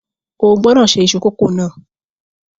O gbọ́dọ̀ ṣe iṣu kókò náà